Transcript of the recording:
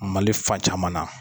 Mali fan caman na.